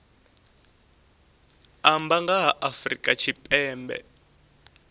amba nga ha afrika tshipembe